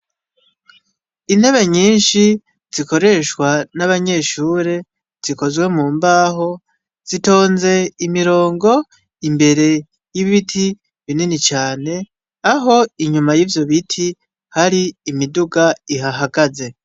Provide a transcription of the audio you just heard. Intebe nyinshi zikoreshwa n'abanyeshure zikozwe mu mbaho zitoze imirongo imbere y'ibiti binini cane aho inyuma yivyo biti imidoga ihahagaze.